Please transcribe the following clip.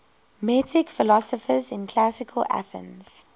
metic philosophers in classical athens